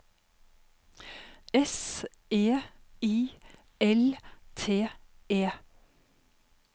S E I L T E